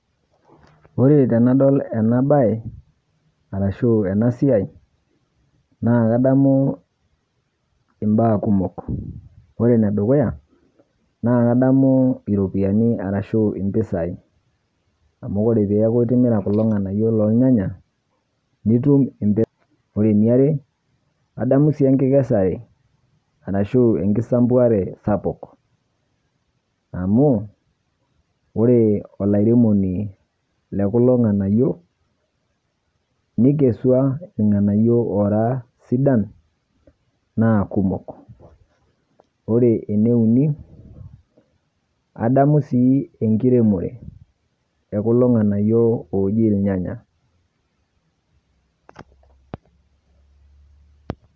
Ore tenadol ena baye arashuu enasiai, naa kadamuu imbaa kumok. Ore enedukuya naa kadamu iropiani arashu impisai amu ore peaku itimira kulo ng'anayio lolnyanya nitum impisai. Ore eniare, adamu sii enkikesare arashu enkisampuare sapuk amu ore olairemoni lekulo ng'anayio neikesua ilng'anayio oora sidan naa kumok. Ore eneuni adamu sii enkiremore e kulo ng'anayio ooji ilnyanya.